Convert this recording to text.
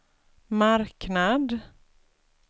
marknad